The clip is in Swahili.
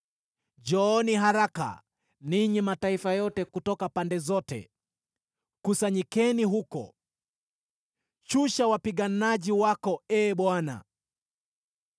Njooni haraka, ninyi mataifa yote kutoka pande zote, kusanyikeni huko. Shusha wapiganaji wako, Ee Bwana !